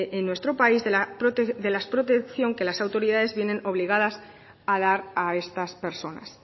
en nuestro país de la protección que las autoridades vienen obligadas a dar a estas personas